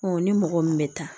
ni mɔgɔ min bɛ taa